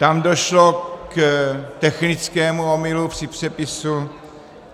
Tam došlo k technickému omylu při přepisu.